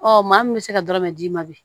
Ɔ maa min bɛ se ka dɔrɔmɛ d'i ma bi